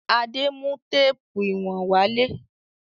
Adé mú téépù ìwọ̀n wálé.